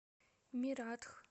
мератх